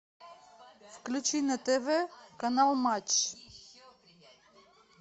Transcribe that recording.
включи на тв канал матч